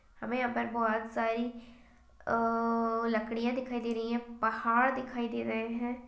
हमें यहाँ पर बहोत सारी अ लकड़ियाँ दिखाई दे रही है पहाड़ दिखाई दे रहे है।